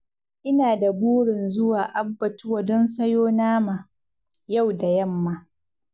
Ina da burin zuwa abbatuwa don sayo nama, yau da yamma.